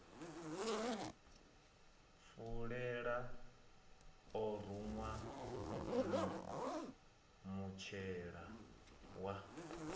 fulela o ruṅwa mutshila wa